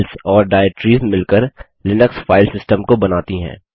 files और directories मिलकर Linux file system को बनाती हैं